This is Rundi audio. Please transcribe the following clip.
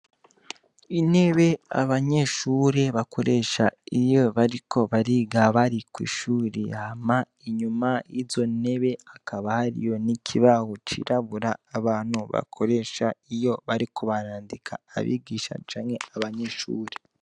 Intebe abanyeshure bakoresha iyo bariko bariga bari kw'ishure. Hama inyuma y'izo nyebe hakaba hariyo n'ikibaho cirabura abantu bakoresha iyo bariko barandika abigisha canke abanyeshure.